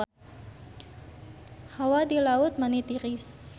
Hawa di Laut Mati tiris